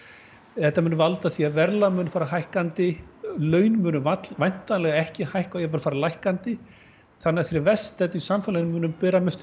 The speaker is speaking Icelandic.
þetta mun valda því að verðlag mun fara hækkandi laun munu ekki hækka og jafnvel fara lækkandi þannig að þeir verst stöddu í samfélaginu munu bera mestu